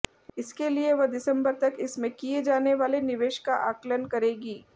इसके लिए वह दिसंबर तक इसमें किए जाने वाले निवेश का आकलन करेगी